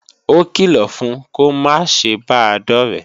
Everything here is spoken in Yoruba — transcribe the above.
Ókìlọ̀ fun kó máa ṣe bàa dọ̀ré!